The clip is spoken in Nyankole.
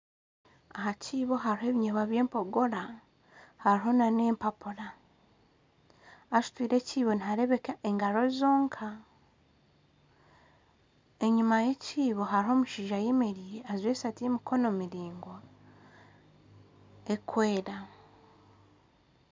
Aha kiibo hariho ebiyobwa by'empogora hariho n'empapura, asutwire ekiibo nihareebeka engaro zonka, enyima y'ekiibo hariyo omushaija ayemereire ajwire eshati y'emikono miringwa erikwera